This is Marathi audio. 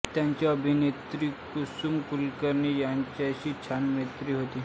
त्यांची अभिनेत्री कुसुम कुलकर्णी यांच्याशीही छान मैत्री होती